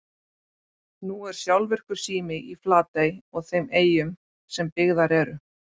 Nú er sjálfvirkur sími í Flatey og þeim eyjum sem byggðar eru.